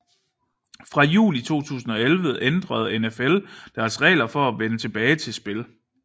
Fra juli 2011 ændrede NFL deres regler for at vende tilbage til spil